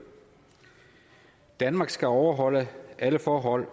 danmark skal overholde alle forhold